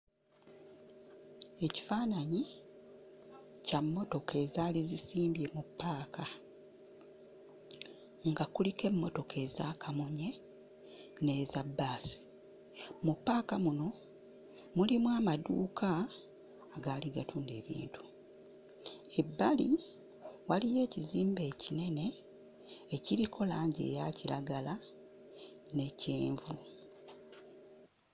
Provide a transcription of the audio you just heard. Ekifaananyi kya mmotoka ezaali zisimbye mu ppaaka. Nga kuliko emmotoka eza kamunye, n'eza bbaasi. Mu ppaaka muno mulimu amaduuka agaali gatunda ebintu. Ebbali waliyo ekizimbe ekinene ekiriko langi eya kiragala, ne kyenvu.